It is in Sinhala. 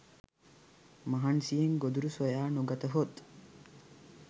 මහන්සියෙන් ගොදුරු සොයා නොගතහොත්